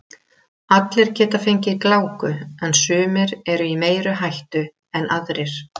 Allir geta fengið gláku en sumir eru í meiri hættu en aðrir.